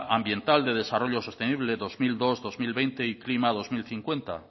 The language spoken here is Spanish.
ambiental de desarrollo sostenible dos mil dos dos mil veinte y klima dos mil cincuenta